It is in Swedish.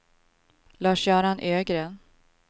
Lars-Göran Ögren